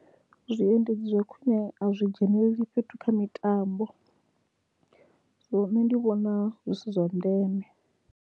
Zwiendedzi zwa khwine a zwi dzhenelele fhethu kha mitambo, so nṋe ndi vhona zwi si zwa ndeme.